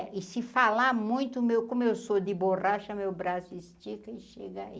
E se falar muito, o meu como eu sou de borracha, meu braço estica e chega aí.